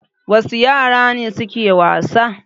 Wasu yara ne suke wasa?